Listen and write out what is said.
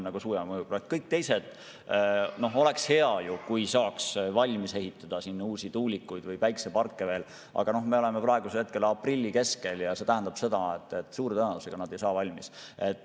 Oleks hea, kui jõuaks valmis ehitada uusi tuulikuid ja veel päikeseparke, aga me oleme praegu aprilli keskel ja see tähendab seda, et suure tõenäosusega need ei saa valmis.